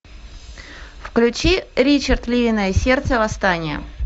включи ричард львиное сердце восстание